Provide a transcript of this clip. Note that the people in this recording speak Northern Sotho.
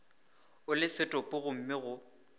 o le setopo gomme go